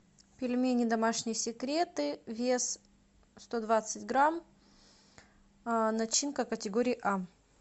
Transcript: пельмени домашние секреты вес сто двадцать грамм начинка категории а